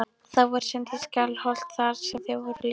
Þau voru send í Skálholt þar sem þau voru lesin.